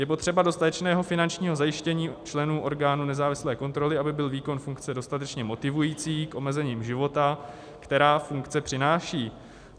Je potřeba dostatečného finančního zajištění členů orgánu nezávislé kontroly, aby byl výkon funkce dostatečně motivující k omezením života, která funkce přináší.